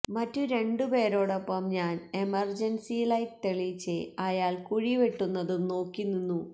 മറ്റും രണ്ടു പേരോടൊപ്പം ഞാന് എമര്ജന്സി ലൈറ്റ് തെളിച്ച് അയാള് കുഴി വെട്ടുന്നതും നോക്കി നിന്നു